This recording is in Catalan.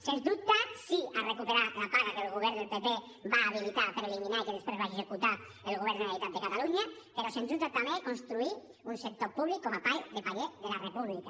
sens dubte sí a recuperar la paga que el govern del pp va habilitar per eliminar i que després va executar el govern de la generalitat de catalunya però sens dubte també construir un sector públic com a pal de paller de la república